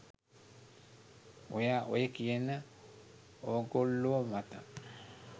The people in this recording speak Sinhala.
ඔයා ඔය කියන ඕගොල්ලෝ මත